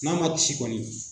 N'a ma ci kɔn.i